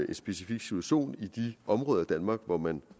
en specifik situation i de områder i danmark hvor man